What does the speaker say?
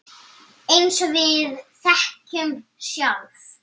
Eins og við þekkjum sjálf.